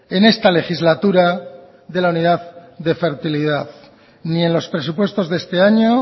en esta legislatura de la unidad de fertilidad ni en los presupuestos de este año